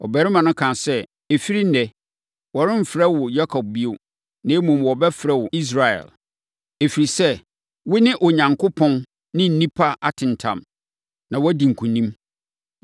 Ɔbarima no kaa sɛ, “Ɛfiri ɛnnɛ, wɔremfrɛ wo Yakob bio, na mmom, wɔbɛfrɛ wo Israel, ɛfiri sɛ, wo ne Onyankopɔn ne nnipa atentam, na woadi nkonim.”